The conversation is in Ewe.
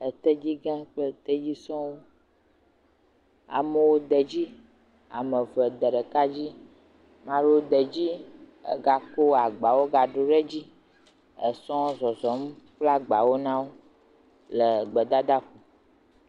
Etedzigã kple tedzi suewo. Ame de edzi. Ame eve de ɖeka dzi. Ame aɖewo de edzi ega ko agbawo gadzro ɖe edzi. Esɔ zɔzɔm kple agbawo na wo le gedadaƒo.